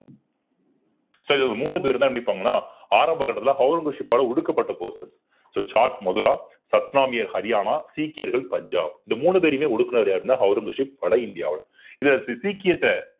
so இது ஒரு மூணு பேர்தான் நிற்பாங்கன்னா ஆரம்ப கட்டத்துல ஔரங்கசீப் ஒடுக்கப்பட்ட போது so சாட் மதுரா சத்னாமியர் ஹரியானா சீக்கியர்கள் பஞ்சாப் இந்த மூணு பேரையுமே ஒடுக்கினது யாருன்னா ஔரங்கசீப் வட இந்தியாவுல இதை சீக்கியத்தை